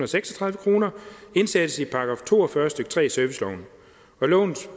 seksogtredive kroner indsættes i § to og fyrre stykke tre i serviceloven og lovens